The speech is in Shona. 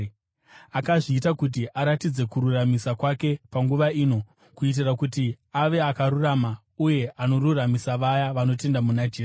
Akazviita kuti aratidze kururamisira kwake panguva ino, kuitira kuti ave akarurama uye anoruramisira vaya vanotenda muna Jesu.